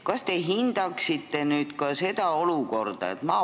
Kas te hindaksite nüüd praegust olukorda?